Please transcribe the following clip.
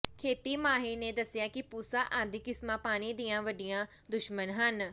ਖੇਤੀ ਮਾਹਿਰ ਨੇ ਦੱਸਿਆ ਕਿ ਪੂਸਾ ਆਦਿ ਕਿਸਮਾਂ ਪਾਣੀ ਦੀਆਂ ਵੱਡੀਆਂ ਦੁਸ਼ਮਣ ਹਨ